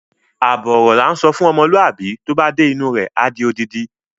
Àbọ̀ ọ̀rọ̀ la ńsọ fún ọmọlúwàbí, tó bá dé inú u rẹ̀, á di odindi.